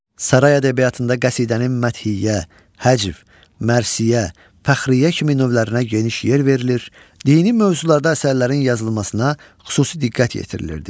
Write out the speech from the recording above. Saray ədəbiyyatında qəsidənin məthiyyə, həcv, mərsiyyə, fəxriyyə kimi növlərinə geniş yer verilir, dini mövzularda əsərlərin yazılmasına xüsusi diqqət yetirilirdi.